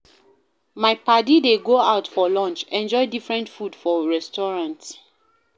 My paddy dey go out for lunch, enjoy different food for restaurant.